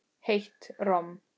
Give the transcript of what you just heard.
Heitt romm.